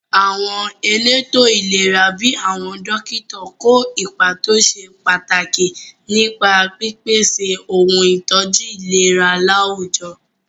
Àwọn elétò ìlera bíi àwọn dókítà kó ipa tó ṣe pàtàkì nípa pípèsè ohun ìtọ́jú ìlera láwùjọ.